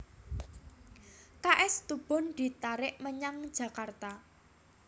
K S Tubun ditarik menyang Jakarta